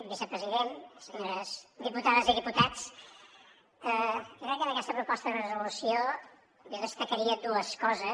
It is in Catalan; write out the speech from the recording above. vicepresident senyores diputades i diputats jo crec que d’aquesta proposta de resolució en destacaria dues coses